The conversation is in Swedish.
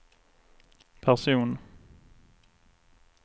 person